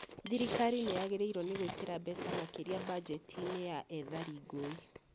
Thirikari nĩyagĩrĩirwo nĩ gũĩkĩra mbeca makĩria mbanjeti -inĩ ya ethari ngũĩ